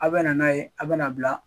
A bɛ na n'a ye a bɛ na bila